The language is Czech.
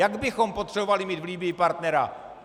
Jak bychom potřebovali mít v Libyi partnera!